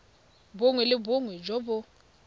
bongwe le bongwe jo bo